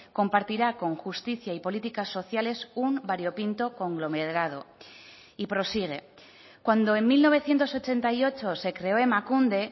compartirá con justicia y políticas sociales un variopinto conglomerado y prosigue cuando en mil novecientos ochenta y ocho se creó emakunde